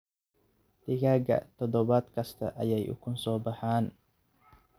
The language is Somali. Digaagga toddobaad kasta ayay ukun soo baxaan.